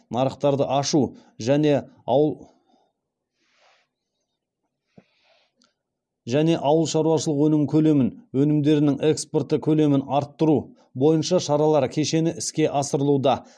нарықтарды ашу және ауыл шаруашылық өнім көлемін өнімдерінің экспорты көлемін арттыру бойынша шаралар кешені іске асырылуда